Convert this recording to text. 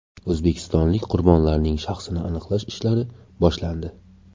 O‘zbekistonlik qurbonlarning shaxsini aniqlash ishlari boshlandi.